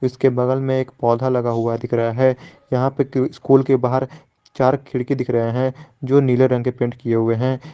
इसके बगल में एक पौधा लगा हुआ दिख रहा है यहां पे क स्कूल के बाहर चार खिड़की दिख रहे है जो नीले रंग के पेंट किए हुए हैं।